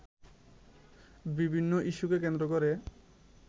বিভিন্ন ইস্যুকে কেন্দ্র করে